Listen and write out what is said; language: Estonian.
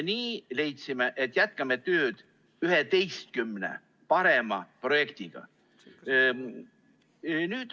Nii me leidsimegi, et jätkame tööd 11 parema projektiga.